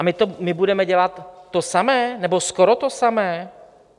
a my budeme dělat to samé, nebo skoro to samé?